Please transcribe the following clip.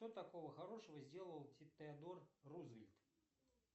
что такого хорошего сделал теодор рузвельт